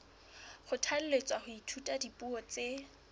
kgothalletswa ho ithuta dipuo tse